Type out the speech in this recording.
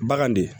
Bagan de